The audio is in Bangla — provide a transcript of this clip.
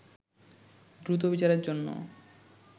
দ্রুত বিচারের জন্য